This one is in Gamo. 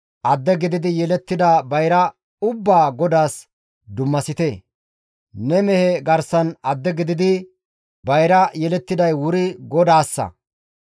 attuma gidi yelettida bayra ubbaa GODAAS dummasite; ne mehe garsan adde gididi bayra yelettiday wuri GODAASSA.